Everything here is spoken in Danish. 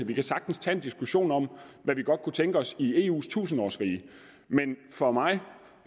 vi kan sagtens tage en diskussion om hvad vi godt kunne tænke os i eus tusindårsrige men for mig for